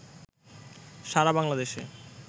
সারা বাংলাদেশে